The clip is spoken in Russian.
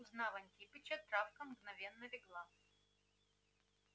узнав антипыча травка мгновенно легла